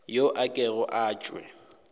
yo a kego a tšwe